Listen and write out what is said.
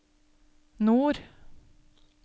nord